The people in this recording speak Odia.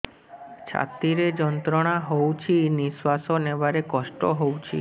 ଛାତି ରେ ଯନ୍ତ୍ରଣା ହଉଛି ନିଶ୍ୱାସ ନେବାରେ କଷ୍ଟ ହଉଛି